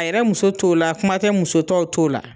A yɛrɛ muso t'o la kuma tɛ musotɔw t'o la.